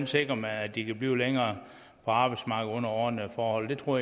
sikrer at de kan blive længere på arbejdsmarkedet under ordnede forhold det tror